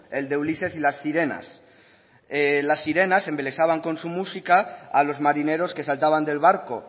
el de ulises y las sirenas las sirenas embelesaban con su música a los marineros que saltaban del barco